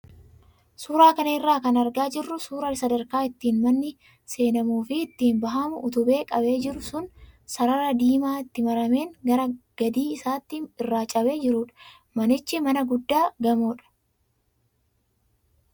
Suuraa kana irraa kan argaa jirru suuraa sadarkaa ittiin manni seenamuu fi ittiin bahamu utubee qabee jiru sun sarara diimaa itti marameen gara gadii isaatti irraa cabee jirudha. Manichi mana guddaa gamoodha.